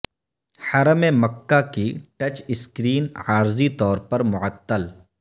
حرم مکہ کی touch screen عارضی طور پر معطل